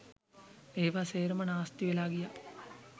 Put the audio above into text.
ඒවා සේරම නාස්ති වෙලා ගියා